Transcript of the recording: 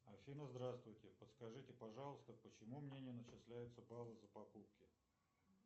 афина здравствуйте подскажите пожалуйста почему мне не начисляются баллы за покупки